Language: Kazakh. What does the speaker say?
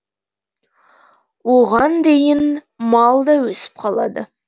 оған дейін мал да өсіп қалады